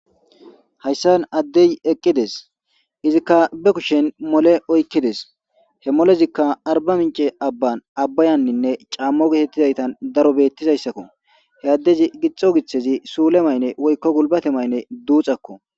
Hayssan addey eqqides.izika be kushen mole oykkides.he molezikka Arbaminche abban abbayaninne camo gettetizayssan bettizayssako.he addezi gixxo githezi woyko surezi sule mayne duxxakko.